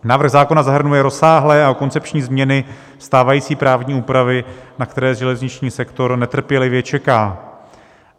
Návrh zákona zahrnuje rozsáhlé a koncepční změny stávající právní úpravy, na které železniční sektor netrpělivě čeká.